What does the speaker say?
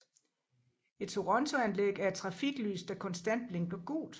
Et torontoanlæg er et trafiklys der konstant blinker gult